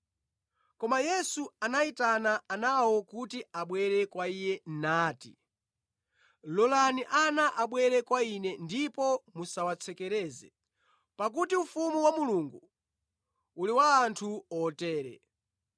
Koma Yesu anayitana anawo kuti abwere kwa Iye nati, “Lolani ana abwere kwa Ine ndipo musawatsekereze, pakuti ufumu wa Mulungu uli wa anthu otere.